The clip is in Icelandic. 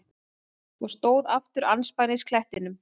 Og stóð aftur andspænis klettinum.